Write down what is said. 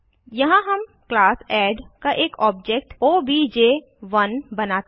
यहाँ हम class add का एक ऑब्जेक्ट ओबीजे1 बनाते हैं